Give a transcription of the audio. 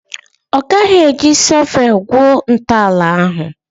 Ọ gaghị eji shọvel gwuo ntọala ahụ?